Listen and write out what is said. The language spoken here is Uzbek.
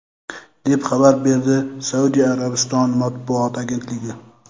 deb xabar beradi Saudiya Arabistoni matbuot agentligi.